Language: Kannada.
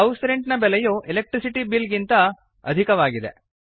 ಹೌಸ್ ರೆಂಟ್ ನ ಬೆಲೆಯು ಎಲೆಕ್ಟ್ರಿಸಿಟಿ ಬಿಲ್ ನ ಬೆಲೆಗಿಂತ ಅಧಿಕವಾಗಿದೆ